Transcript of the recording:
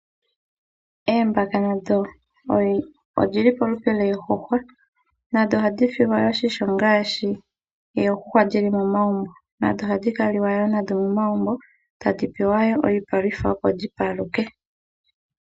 Oombaka nadho odhili molupe lwoondjuhwa dho oha dhi silwa oshimpwiyu ngaashi oondjuhwa dhili momagumbo nadho oha dhi kaliwa nadho momagumbo tadhi pewa iipalutha opo dhi paluke.